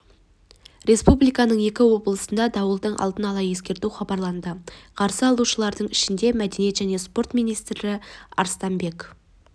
республиканың екі облысына дауылды алдын ала ескерту хабарланды қарсы алушылардың ішінде мәдениет және спорт министрі арыстанбек